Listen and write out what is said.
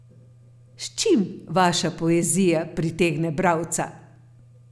S čim vaša poezija pritegne bralca?